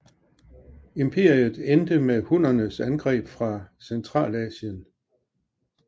Imperiet endte med hunnernes angreb fra Centralasien